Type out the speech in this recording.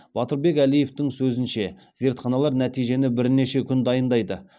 батырбек әлиевтің сөзінше зертханалар нәтижені бірнеше күн дайындайды